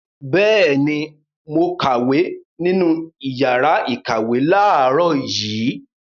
Bẹ́ẹ̀ ni, mo kàwé nínú ìyàrá-ìkàwé láàárọ̀ yìí.